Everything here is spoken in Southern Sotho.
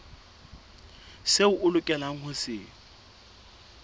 seo o lokelang ho se